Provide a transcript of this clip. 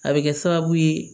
A bɛ kɛ sababu ye